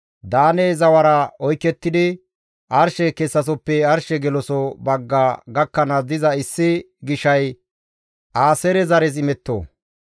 Daane zawara oykettidi arshe kessasoppe arshe geloso bagga gakkanaas diza issi gishay Aaseere zares imetto.